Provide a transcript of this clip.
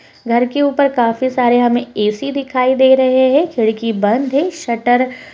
घर के ऊपर काफी सारे हमें ऐ.सी. दिखाई दे रहे है। खिड़की बंद है शटर --